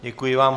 Děkuji vám.